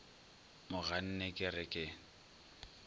mo ganne ke re ke